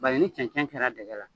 Ba ye ni cɛnɛncɛn kɛra dɛgɛ la